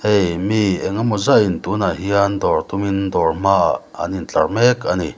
hei mi engemaw zat in tunah hian dawr tumin dawr hmaah an in tlar mek ani.